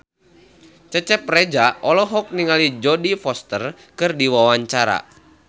Cecep Reza olohok ningali Jodie Foster keur diwawancara